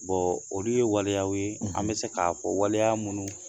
olu ye waliyaw ye an bɛ se k'a fɔ waleya minnu